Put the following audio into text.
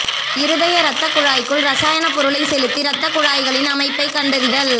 இருதய ரத்தக் குழாய்க்குள் ரசாயனப் பொருளைச் செலுத்தி ரத்தக்குழாய்களின் அமைப்பைக் கண்டறிதல்